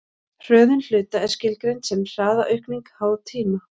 hröðun hluta er skilgreind sem hraðaaukning háð tíma